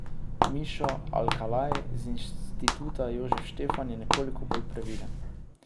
Mišo Alkalaj z Instituta Jožef Štefan je nekoliko bolj previden.